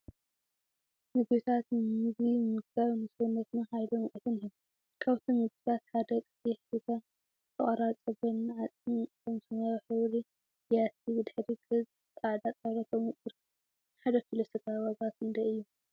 ምግቢታት ምግቢ ምምጋብ ንሰውነትና ሓይልን ሙቀትን ይህብ፡፡ ካብቶም ምግቢታት ሓደ ቀይሕ ስጋን ዝተቆራረፀ ጎኒ ዓፅሚን አብ ሰማያዊ ሕብሪ ቢያቲ ብድሕረ ገፅ ፃዕዳ ጣወላ ተቀሚጡ ይርከብ፡፡ ንሓደ ኪሎ ስጋ ዋጋ ክንደይ እዩ?